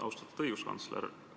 Austatud õiguskantsler!